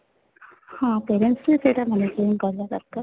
ହଁ parents ବି ସେଇଟା maintain କରିବା ଦରକାର